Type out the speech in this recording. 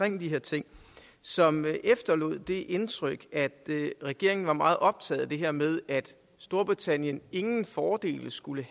om de her ting som efterlod det indtryk at regeringen var meget optaget af det her med at storbritannien ingen fordele skulle